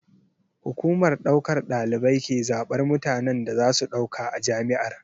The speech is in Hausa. Hukumar ɗaukar ɗalibai ke zaɓar mutanen da za su ɗauka a jami'ar.